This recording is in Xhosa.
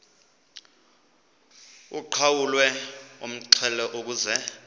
uqhawulwe umxhelo ukuze